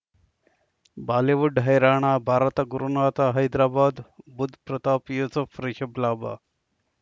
Bollywood ಹೈರಾಣ ಭಾರತ ಗುರುನಾಥ ಹೈದರಾಬಾದ್ ಬುಧ್ ಪ್ರತಾಪ್ ಯೂಸುಫ್ ರಿಷಬ್ ಲಾಭ